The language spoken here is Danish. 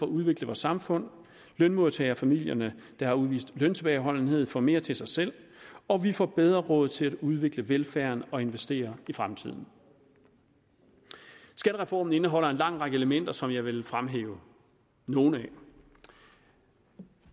udvikle vores samfund lønmodtagerfamilierne der har udvist løntilbageholdenhed får mere til sig selv og vi får bedre råd til at udvikle velfærden og investere i fremtiden skattereform indeholder en lang række elementer som jeg vil fremhæve nogle af